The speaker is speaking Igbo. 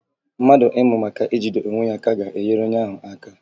Mmadụ ịmụ maka ijide onwe ya aka ga-enyere onye ahụ aka